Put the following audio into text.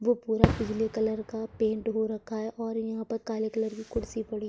वो पूरा पिले कलर का पेंट हो रखा है और यहाँ पर काले कलर की कुर्सी पड़ी है।